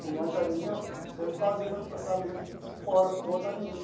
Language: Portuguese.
Por conta minha, eu sempre fazia meu tratamento fora, por conta minha.